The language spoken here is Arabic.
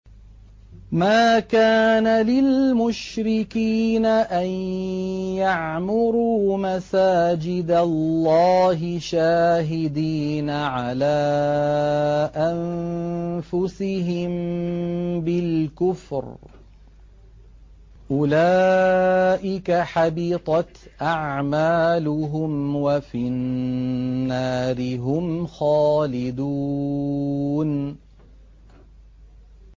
مَا كَانَ لِلْمُشْرِكِينَ أَن يَعْمُرُوا مَسَاجِدَ اللَّهِ شَاهِدِينَ عَلَىٰ أَنفُسِهِم بِالْكُفْرِ ۚ أُولَٰئِكَ حَبِطَتْ أَعْمَالُهُمْ وَفِي النَّارِ هُمْ خَالِدُونَ